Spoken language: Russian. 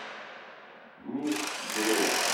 мир бронь